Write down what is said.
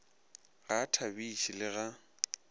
ga a thabiše le ga